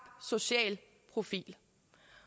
social profil